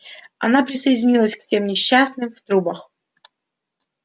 она присоединилась к тем несчастным в трубах